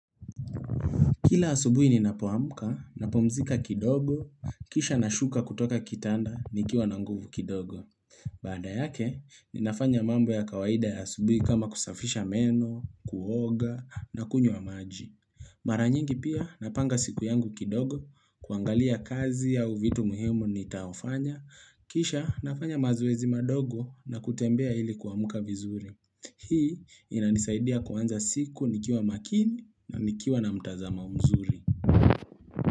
Kila asubui ni napoamka, napomzika kidogo, kisha na shuka kutoka kitanda, nikiwa na nguvu kidogo. Baada yake, ni nafanya mambo ya kawaida ya asubui kama kusafisha meno, kuoga, na kunywa maji. Maranyingi pia napanga siku yangu kidogo, kuangalia kazi au vitu muhimu ni taofanya, kisha nafanya mazoezi madogo na kutembea ili kuamuka vizuri. Hii inanisaidia kuanza siku nikiwa makini na nikiwa na mtazamo mzuri.